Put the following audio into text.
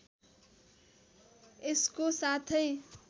यसको साथै